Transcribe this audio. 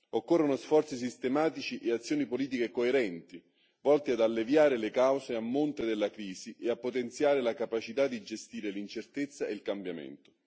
Occorrono sforzi sistematici e azioni politiche coerenti volte ad alleviare le cause a monte della crisi e a potenziare la capacità di gestire l'incertezza e il cambiamento.